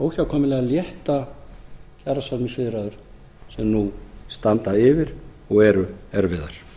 óhjákvæmilega létta kjarasamningaviðræður sem nú standa yfir og eru erfiðar